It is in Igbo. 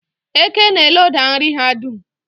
Eke na-eloda nri ha dum.